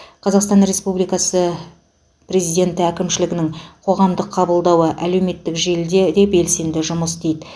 қазақстан республикасы президенті әкімшілігінің қоғамдық қабылдауы әлеуметтік желіде де белсенді жұмыс істейді